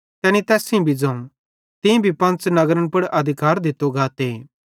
तैनी तैस सेइं भी ज़ोवं तीं भी पंच़ नगरन पुड़ अधिकार दित्तो गाते